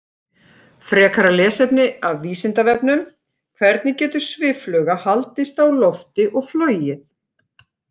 Frekara lesefni af Vísindavefnum: Hvernig getur sviffluga haldist á lofti og flogið?